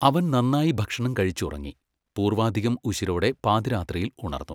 അവൻ നന്നായി ഭക്ഷണം കഴിച്ച് ഉറങ്ങി പൂർവ്വാധികം ഉശിരോടെ പാതിരാത്രിയിൽ ഉണർന്നു.